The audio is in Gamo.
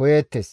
koyeettes.